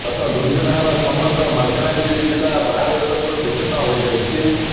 ଗତ ଦୁଇଦିନ ହେଲା ସମଗ୍ର ମାଲକାନଗିରି ଜିଲ୍ଲା ବାହ୍ୟଜଗତରୁ ବିଛିନ୍ନ ହୋଇ ଯାଇଛି